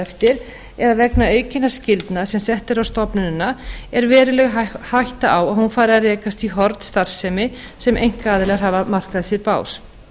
eftir eða vegna aukinna skyldna sem sett eru á stofnunina er veruleg hætta á að hún fari að rekast í horn starfsemi sem einkaaðilar hafa markað sér bás